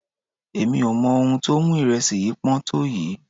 Èmi ò mọ ohun tó mú ìrẹsì yìí pọ́n tó yìí.